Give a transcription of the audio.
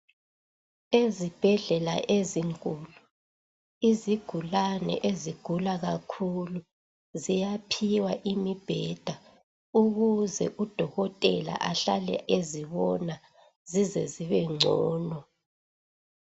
Ezibhedlela ezinkulu, izigulane ezigula kakhulu, ziyaphiwa imibheda. Ukuze udokotela, ahlale ezibona. Zize zibengcono.